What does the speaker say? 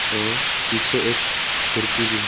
और पीछे एक खिड़की भी है।